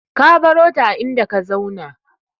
Ka barota a inda ka zauna.